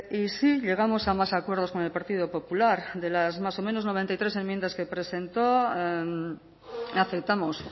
y sí llegamos a más acuerdos con el partido popular de las más o menos noventa y tres enmiendas que presentó aceptamos